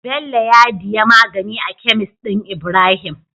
Bello ya diya magani a kemis din ibrahim